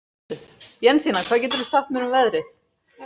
Jensína, hvað geturðu sagt mér um veðrið?